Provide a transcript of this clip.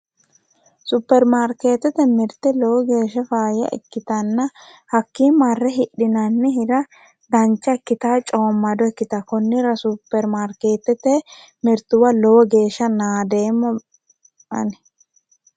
Supirimaarketete mirte lowo geeshsha faayya ikkittano hakki marre hidhinanni hira dancha ikkittawo coomado ikkittawo konnira supirimaariketete mirtuwa lowo geeshsha naadeemma ani".